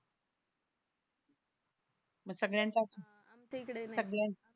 मग सगळ्यांचा सगळं